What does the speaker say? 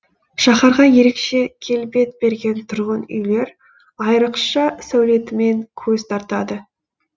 шаһарға ерекше келбет берген тұрғын үйлер айрықша сәулетімен көз тартады